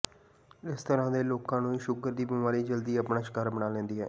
ਇਸ ਤਰ੍ਹਾਂ ਦੇ ਲੋਕਾਂ ਨੂੰ ਸ਼ੂਗਰ ਦੀ ਬਿਮਾਰੀ ਜਲਦੀ ਆਪਣਾ ਸ਼ਿਕਾਰ ਬਣਾ ਲੈਂਦੀ ਹੈ